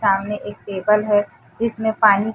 सामने एक टेबल है जिसमें पानी--